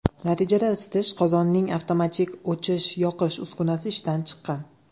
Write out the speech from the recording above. Natijada isitish qozonining avtomatik o‘chish-yoqish uskunasi ishdan chiqqan.